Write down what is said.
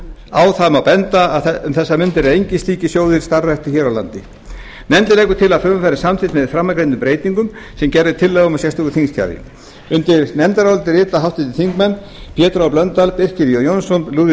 á það má benda að um þessar mundir eru engir slíkir sjóðir starfræktir hér á landi nefndin leggur til að frumvarpið verði samþykkt með framangreindum breytingum sem gerð er tillaga um í sérstöku þingskjali undir nefndarálitið rita háttvirtir þingmenn pétur h blöndal birkir j jónsson lúðvík